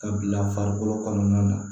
Ka bila farikolo kɔnɔna na